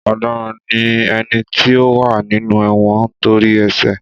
Ọ̀daràn ní éní tí ó wá nínú èwõn ntórí ésè